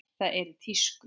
Það er í tísku.